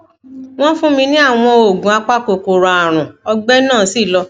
wọn fún mi ní àwọn oògùn apakòkòrò ààrùn ọgbẹ náà sì lọ